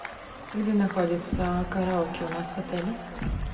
где находится караоке у нас в отеле